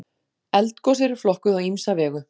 Eldgos eru flokkuð á ýmsa vegu.